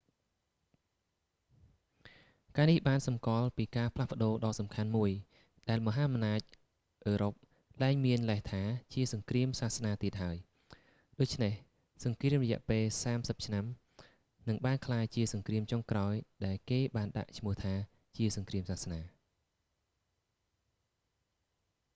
ការនេះបានសំគាល់ពីការផ្លាស់ប្ដូរដ៏សំខាន់មួយ ដែលមហាអំណាចអឺរ៉ុបលែងមានលេសថា ជាសង្គ្រាមសាសនាទៀតហើយ ដូចនេះ សង្គ្រាមរយៈពេលសាមសិបឆ្នាំនឹងបានក្លាយជាសង្គ្រាមចុងក្រោយដែលគេបានដាក់ឈ្មោះថា ជាសង្គ្រាមសាសនា